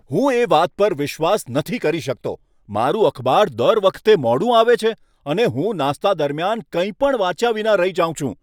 હું આ વાત પર વિશ્વાસ નથી કરી શકતો! મારું અખબાર દર વખતે મોડું આવે છે અને હું નાસ્તા દરમિયાન કંઈ પણ વાંચ્યા વિના રહી જાઉં છું.